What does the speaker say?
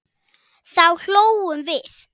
Þá hlógum við.